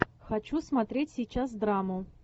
хочу смотреть сейчас драму